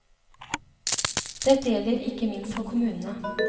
Dette gjelder ikke minst for kommunene.